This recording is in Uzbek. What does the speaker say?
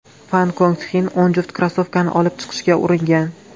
Fan Kong Txin o‘n juft krossovkani olib chiqishga uringan.